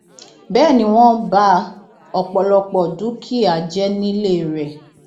bẹẹ ni wọn ba ọpọlọpọ dúkìá jẹ nílé rẹ